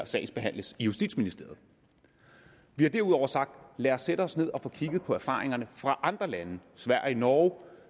sagsbehandles i justitsministeriet vi har derudover sagt lad os sætte os ned og få kigget på erfaringerne fra andre lande sverige norge